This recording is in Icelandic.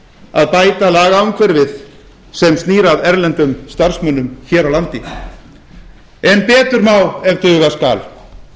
að bæta lagaumhverfið sem snýr að erlendum starfsmönnum hér á landi en betur má ef duga skal